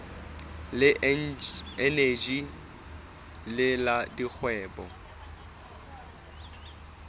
le eneji le la dikgwebo